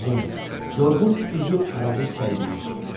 Solğun, yorğun üzü arabir səyriyirdi.